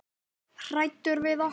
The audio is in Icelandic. Hræddur við okkur?